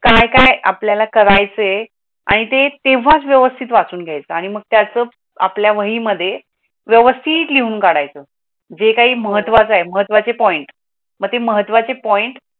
काय काय आपल्याला करायचे आणि ते तेव्हाच व्यवस्थित वाचून घ्यायचा आणि मग त्याचं आपल्या वहीमध्ये व्यवस्थित लिहून काढायचं. जे काही जे काही महत्त्वाचे महत्त्वाचे पॉईंट मध्ये महत्त्वाचे पॉईंट